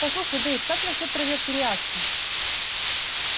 послушай дейв как насчёт проверки реакций